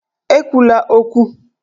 E kwula okwu!